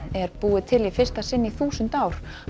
er búið til í fyrsta sinn í þúsund ár